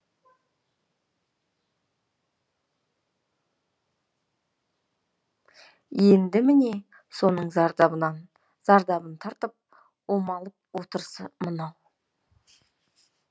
енді міне соның зардабын тартып омалып отырысы мынау